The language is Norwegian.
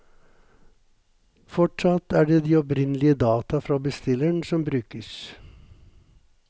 Fortsatt er det de opprinnelige data fra bestilleren som brukes.